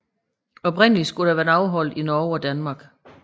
Oprindeligt skulle det være afholdt i Norge og Danmark